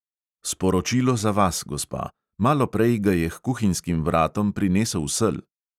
"Sporočilo za vas, gospa, maloprej ga je h kuhinjskim vratom prinesel sel."